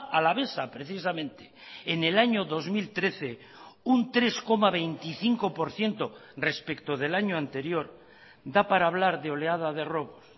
alavesa precisamente en el año dos mil trece un tres coma veinticinco por ciento respecto del año anterior da para hablar de oleada de robos